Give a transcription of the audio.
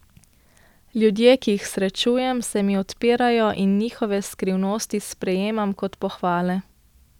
Ljudje, ki jih srečujem, se mi odpirajo in njihove skrivnosti sprejemam kot pohvale.